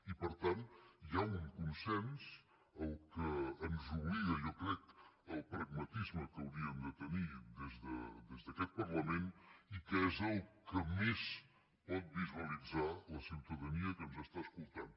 i per tant hi ha un consens que ens obliga jo crec al pragmatisme que hauríem de tenir des d’aquest parlament i que és el que més pot visualitzar la ciutadania que ens està escoltant